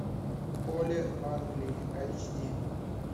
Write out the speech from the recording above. поле в англии айч ди